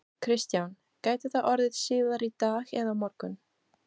Kristján: Gæti það orðið síðar í dag eða á morgun?